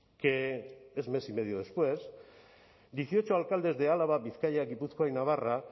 que es mes y medio después dieciocho alcaldes de álava bizkaia gipuzkoa y navarra